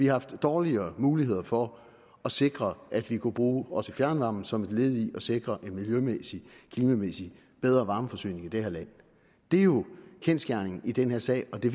haft dårligere muligheder for at sikre at vi også kunne bruge fjernvarmen som et led i at sikre en miljømæssigt og klimamæssigt bedre varmeforsyning i det her land det er jo kendsgerningen i den her sag og det